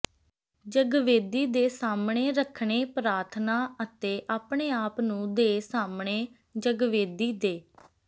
ਜਗਵੇਦੀ ਦੇ ਸਾਹਮਣੇ ਰੱਖਣੇ ਪ੍ਰਾਰਥਨਾ ਅਤੇ ਆਪਣੇ ਆਪ ਨੂੰ ਦੇ ਸਾਹਮਣੇ ਜਗਵੇਦੀ ਦੇ